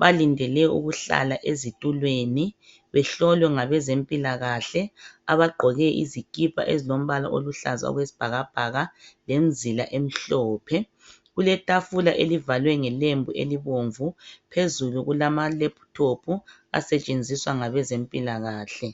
balindele ukuhlala ezitulweni behlolwe ngabezempilakahle abagqoke izikipa ezilombala oluhlaza okwesibhakabhaka lemzila emhlophe. Kuletafula elivalwe ngelembu elibomvu. Phezulu kulamalephuthophu asetshenziswa ngabezempilakahle.